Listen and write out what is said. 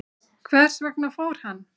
Hvers vegna fór hann?